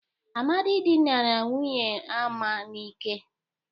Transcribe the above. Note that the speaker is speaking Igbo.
Amadị dịnara nwunye Ama n'ike.